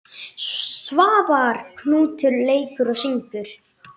Svavar Knútur leikur og syngur.